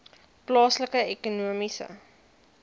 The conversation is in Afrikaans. plaaslike ekonomiese